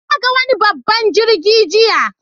Na ga wani babban jirgi jiya.